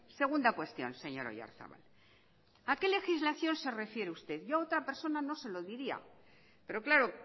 segunda cuestión señor oyarzabal a qué legislación se refiere usted yo a otra persona no se lo diría pero claro